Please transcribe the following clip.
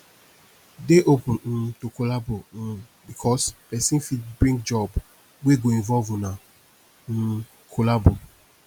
dey open um to collabo um bikos pesin fit bring job wey go involve una um collabo